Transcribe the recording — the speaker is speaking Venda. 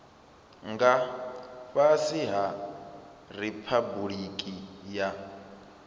nga fhasi ha riphabuliki ya